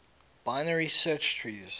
binary search trees